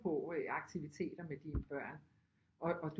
På aktiviteter med dine børn og